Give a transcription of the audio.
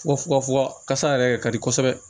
kasa yɛrɛ de ka di kosɛbɛ